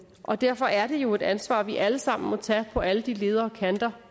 og derfor er det jo et ansvar vi alle sammen må tage på alle de ledder og kanter